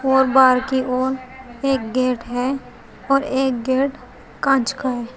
और बाहर की ओर एक गेट है और एक गेट कांच का है।